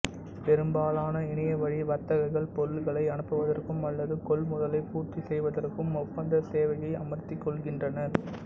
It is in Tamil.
பெரும்பாலான இணையவழி வர்த்தகர்கள் பொருள்களை அனுப்புவதற்கும் அல்லது கொள்முதலை பூர்த்தி செய்வதற்கும் ஒப்பந்த சேவையை அமர்த்திக் கொள்கின்றனர்